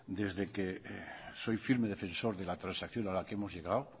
de que soy firme defensor de la transacción de la que hemos llegado